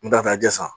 N t'a fɛ a ji san